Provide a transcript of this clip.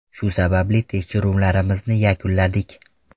Shu sababli tekshiruvlarimizni yakunladik.